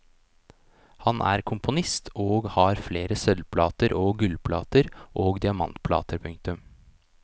Han er komponist og har flere sølvplater og gullplater og diamantplater. punktum